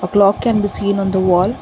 clock can be seen on the wall.